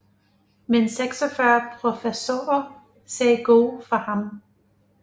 Men 46 professorer sagde god for ham